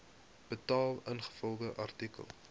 betaal ingevolge artikel